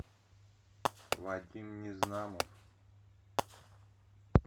вадим незнамов